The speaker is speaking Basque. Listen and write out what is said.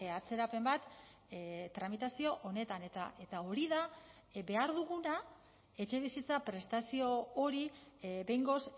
atzerapen bat tramitazio honetan eta hori da behar duguna etxebizitza prestazio hori behingoz